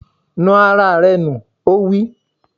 Nu ara rẹ nù! Ó wí.